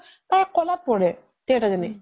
তাই কলাত পৰে তিৰোতা জনী